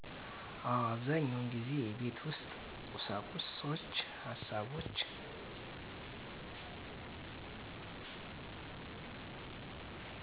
አወ። አብዛኛውን ጊዜ የቤት ውስጥ ቁሳቁሶችን፣ ሀሳቦችን